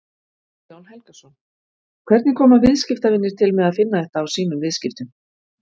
Guðjón Helgason: Hvernig koma viðskiptavinir til með að finna þetta á sínum viðskiptum?